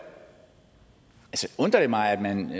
undrer det mig at man